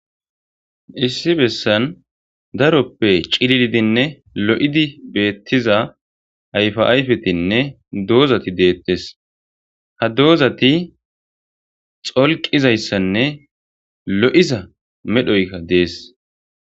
Issi bessan daroppe ciliidinne lo'idi beettiza ayfa ayfetinne doozati deettes ha doozati xolqizayssanne lo'iza medhoyka dees.